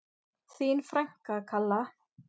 Þín frænka, Kalla.